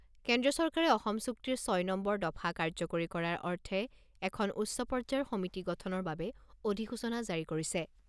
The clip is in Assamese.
কেন্দ্ৰীয় চৰকাৰে অসম চুক্তিৰ ছয় নম্বৰ দফা কাৰ্যকৰী কৰাৰ অৰ্থে এখন উচ্চ পৰ্যায়ৰ সমিতি গঠনৰ বাবে অধিসূচনা জাৰি কৰিছে।